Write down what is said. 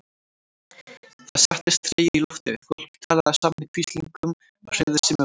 Það settist tregi í loftið, fólk talaði saman í hvíslingum og hreyfði sig með varúð.